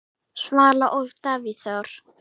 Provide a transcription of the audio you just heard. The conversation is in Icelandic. Svala og Davíð Þór.